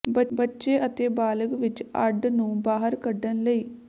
ਬੱਚੇ ਅਤੇ ਬਾਲਗ ਵਿੱਚ ਅੱਡ ਨੂੰ ਬਾਹਰ ਕੱਢਣ ਲਈ